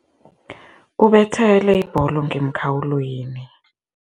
Ubethele ibholo ngemkhawulweni.